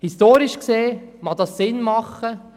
Historisch gesehen, mag das sinnvoll sein.